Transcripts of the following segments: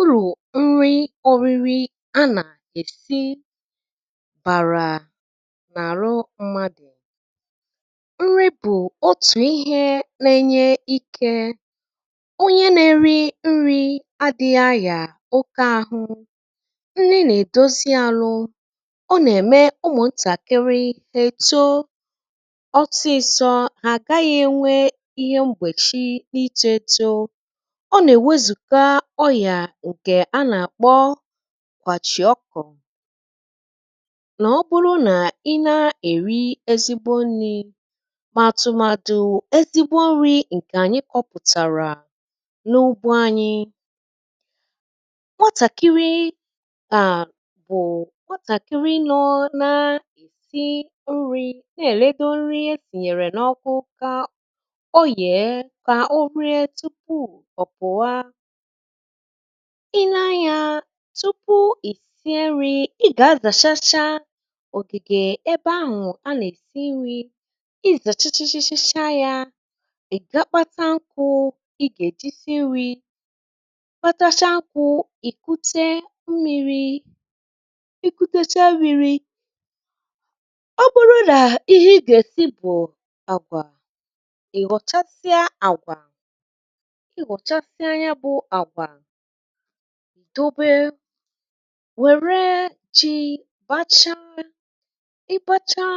ụlọ̀ nri ọ̇rị̇rị̇ a nà-èsi bàrà nà-àrụ mmadụ̀, nri bụ̀ otù ihe nėnyė ikė onye nėrị nri adị̇ghị̇ ayà oke àhụ nri nà-èdozi alụ̇ ọ nà-ème ụmụ̀ntàkịrị ètó ọsi sọ ha agaghị̇ ènwe ihe m̀gbèchị n’ịtọ̇ ètò. Ọ na-ewe zùga ọyià ǹkè a nà-àkpọ kwàchìọkọ̀ nà ọ bụrụ nà ị na-èri ezigbo nni̇ ma àtụmadụ̇ ezigbo nri̇ ǹkè ànyị kọ̇pụ̀tàrà n’ugbȯ anyi. Nwatàkiri a bụ̀ nwatàkiri nọọ̇ nȧ-esi nri na-èledo nri esìnyèrè n’ọkụ kà ọ yee kà o ree tupu ọ̀ pụ̀wa, i nee anyȧ tupu i si nri̇ i gà-azàchacha ògìgè ebe ahụ̀ a nà-èsi nri̇ i zàchachachachacha yȧ ị̀ ga kpata nkụ̇ i gà-èji si nri̇, kpatachaa nkụ̀, ìkute mmiri̇ ikùtecha mmìrì, ọ bụrụ nà ihe i gà-èsi bụ̀ àgwà i ghọ̀chasịa àgwà i ghọchasịa ya bú àgwà ìdobe wère jì bacha ị bȧcha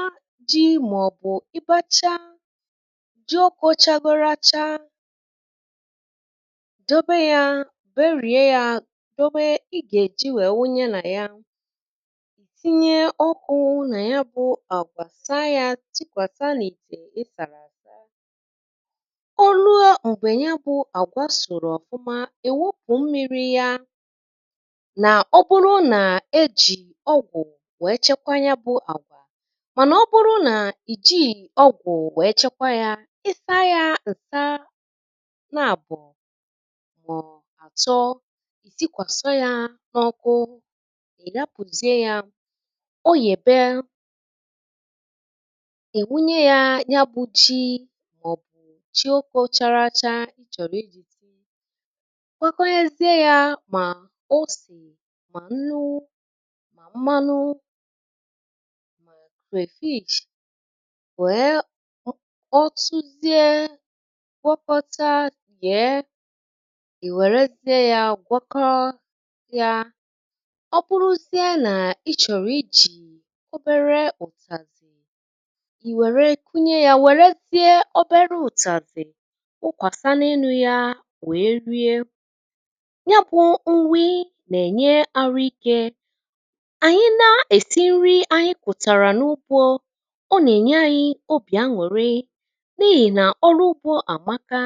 jị̇ màọ̀bụ̀ ịbȧcha jị ọkụ̇ chȧgoro achaa dobe yȧ berie yȧ dobe ị gà-èji wèe wunye nà ya ì tinye ọkụ̇ nà ya bụ̇ àgwà sa yȧ tikwàsa nà ite èsàlà àsà, ò lue m̀gbè ya bụ̀ àgwa sòrò ọ̀fụma íwúpu mmiri ya nà ọ bụrụ nà e jì ọgwụ̀ wee chekwa ya bụ àgwà mànà ọ bụrụ nà ì jighị ọgwụ̀ wee chekwa yȧ ịsa yȧ ǹsa naàbụ̀ mò atọ ì sikwàsi yȧ n’ọkụ è hapuzie yȧ o yèbe è wunye yȧ ya bu ji màọ̀bụ̀ ji oke ò chàràchà kwagọghịzie yȧ mà osì mà nnu mà mmanụ ma crayfish wèe ọ suzie gwọkọta yee ì wèrezie yȧ gwọkọ ya, ọ bụrụzie nà ị chọ̀rọ̀ ijì obere ụ̀tàzì ì wère kunye yȧ wèrezie obere ụ̀tàzì nwụkwàsa n’enu yȧ wèe rie nyabụ̇ nri nà-ènye arụ̇ike ànyị na-èsi nri ànyị kụ̀tàrà n’ụgbọ ọ nà-ènye ȧnyị̇ obì añụ̀rị n’ihì nà ọrụ ụgbọ àmaka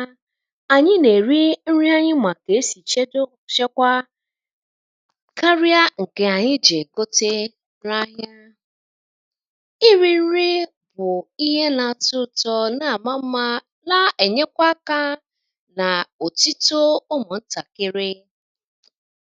ànyị nà-èri nri anyị màkà esì chedo ọ̀chekwȧ karịa ǹkè ànyị je gote na ahịȧ. Iri nri bụ̀ ihe nà-àtọ ụtọ nà àma mmȧ na ènyekwa akȧ na ọ tito ụmụ ntakịrị.